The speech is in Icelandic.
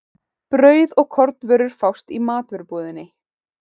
Brauð og kornvörur fást í matvörubúðinni.